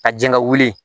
Ka jɛn ka wuli